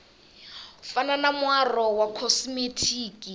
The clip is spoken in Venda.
fana na muaro wa khosimetiki